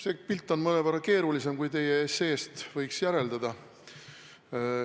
See pilt on mõnevõrra keerulisem, kui teie esseest võiks järeldada.